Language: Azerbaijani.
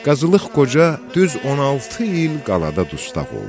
Qazılıq Qoca düz 16 il qalata dustaq oldu.